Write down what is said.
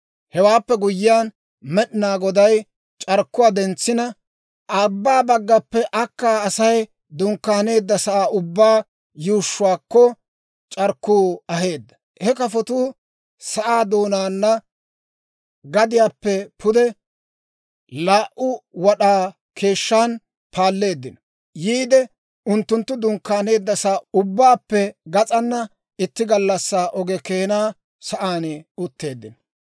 Hewaappe guyyiyaan, Med'inaa Goday c'arkkuwaa dentsina, abbaa baggappe akkaa Asay dunkkaaneeddasaa ubbaa yuushshuwaakko c'arkkuu aheedda; he kafotuu sa'aa doonaana gadiyaappe pude laa"u wad'aa keeshshan paalleeddino. Yiide unttunttu dunkkaaneeddasaa ubbaappe gas'aana, itti gallassaa oge keenaa sa'aan utteeddino.